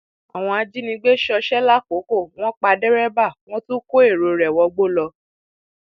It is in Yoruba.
àwọn ajínigbé ṣọṣẹ làkókò wọn pa dẹrẹbà wọn tún kó èrò rẹ wọgbó lọ